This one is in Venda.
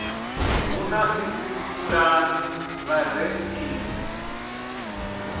hu na idzi pulani vhareili